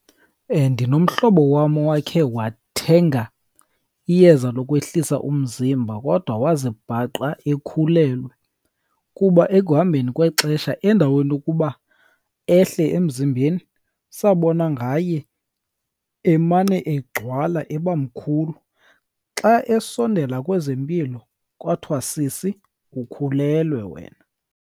Ndinomhlobo wam owakhe wathenga iyeza lokwehlisa umzimba, kodwa wazibhaqa ekhulelwe. Kuba ekuhambeni kwexesha endaweni yokuba ehle emzimbeni, sabona ngaye emane egcwala eba mkhulu. Xa esondela kwezempilo kwathiwa, sisi ukhulelwe wena.